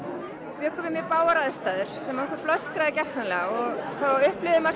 bjuggu við mjög bágar aðstæður sem okkur blöskraði gersamlega þá upplifði maður svo